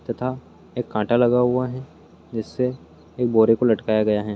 तथा एक कांटा लगा हुआ है जिससे एक बोरे को लटकाया गया है।